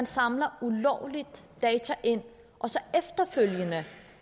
samler data ind og så efterfølgende